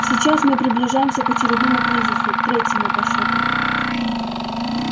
сейчас мы приближаемся к очередному кризису третьему по счету